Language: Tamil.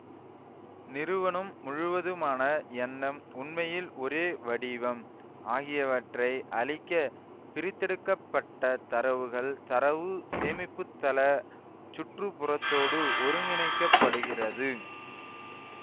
நிறுவனம் முழுவதற்குமான எண்ணம் உண்மையின் ஒரே வடிவம் ஆகியவற்றை அளிக்க பிரித்தெடுக்கப்பட்ட தரவுகள் தரவு சேமிப்புதள சுற்றுப்புறத்தோடு ஒருங்கினைக்கப்படுகிறது